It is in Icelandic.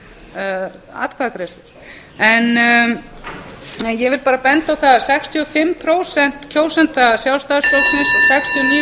sextíu og fimm prósent kjósenda sjálfstæðisflokksins sextíu og níu prósent kjósenda framsóknarflokksins vilja fá að kjósa um áframhald aðildarviðræðna